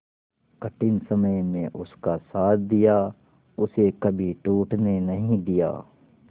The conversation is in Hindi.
कठिन समय में उसका साथ दिया उसे कभी टूटने नहीं दिया